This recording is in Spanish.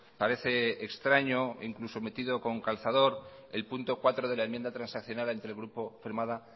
parece extraño incluso metido con calzador el punto cuarto de la enmienda transaccionada firmada